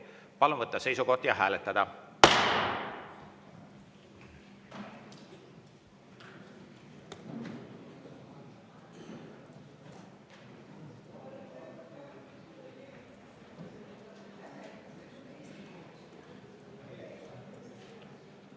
Palun võtta seisukoht ja hääletada!